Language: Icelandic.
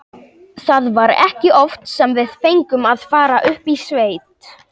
Það var ekki oft sem við fengum að fara upp í sveit.